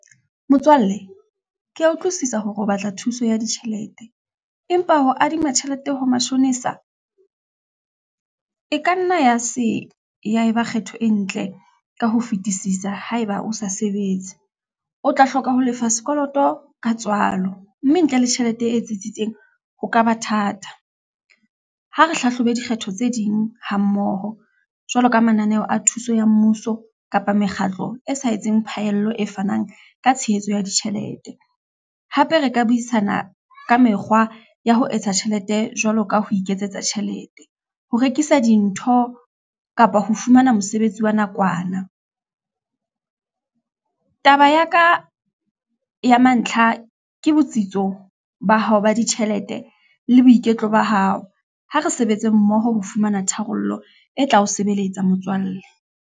Motswalle, ke ya utlwisisa hore o batla thuso ya ditjhelete, empa ho adima tjhelete ho mashonisa, e ka nna ya se, ya e ba kgetho e ntle ka ho fetisisa ha e ba o sa sebetse. O tla hloka ho lefa sekoloto ka tswalo, mme ntle le tjhelete e tsitsitseng ho kaba thata. Ha re hlahlobe dikgetho tse ding ha mmoho, jwalo ka mananeho a thuso ya mmuso kapa mekgatlo e sa etseng phaello e fanang ka tshehetso ya ditjhelete. Hape re ka buisana ka mekgwa ya ho etsa tjhelete jwalo ka ho iketsetsa tjhelete. Ho rekisa dintho, kapa ho fumana mosebetsi wa nakwana. Taba ya ka, ya mantlha ke botsitso ba hao ba ditjhelete le boiketlo ba hao. Ha re sebetse mmoho ho fumana tharollo e tla o sebeletsa motswalle.